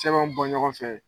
Simanw bɔ ɲɔgɔn fɛ